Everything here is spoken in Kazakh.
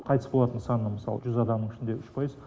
қайтыс болатын саны мысалы жүз адамның ішінде үш пайыз